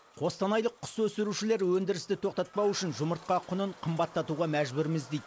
қостанайлық құс өсірушілер өндірісті тоқтатпау үшін жұмыртқа құнын қымбаттатуға мәжбүрміз дейді